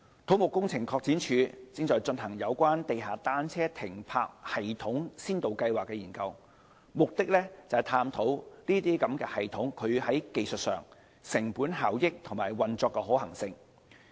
土木工程拓展署正進行有關地下單車停泊系統先導計劃的研究，目的是探討這些系統在技術、成本效益和運作上的可行性。